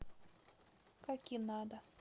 какинада